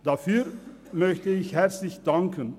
Dafür möchte ich herzlich danken.